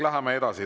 Läheme edasi.